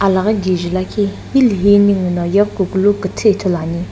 alaghi kije lakhi hilihi ninguno yeghikukulu kuthu ithulu ani.